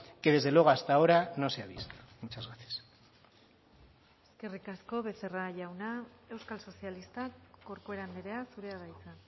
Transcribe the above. que desde luego hasta ahora no se ha visto muchas gracias eskerrik asko becerra jauna euskal sozialistak corcuera andrea zurea da hitza